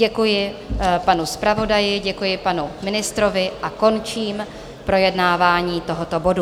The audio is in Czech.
Děkuji panu zpravodaji, děkuji panu ministrovi a končím projednávání tohoto bodu.